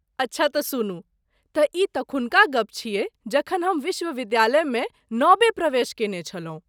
अच्छा त सुनू , तऽ ई तखुनका गप छियै जखन हम विश्वविद्यालय मे नबे प्रवेश कयने छलहुँ।